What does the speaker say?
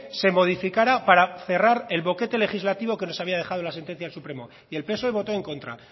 se modificara para cerrar el boquete legislativo que nos había dejado la sentencia del supremo y el psoe votó en contra